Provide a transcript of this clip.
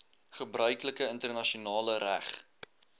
gebruiklike internasionale reg